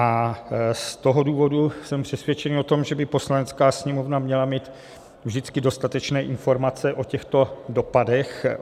A z toho důvodu jsem přesvědčený o tom, že by Poslanecká sněmovna měla mít vždycky dostatečné informace o těchto dopadech.